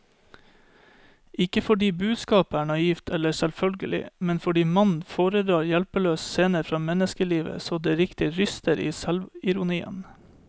Ikke fordi budskapet er naivt eller selvfølgelig, men fordi mannen foredrar hjelpeløse scener fra menneskelivet så det riktig ryster i selvironien.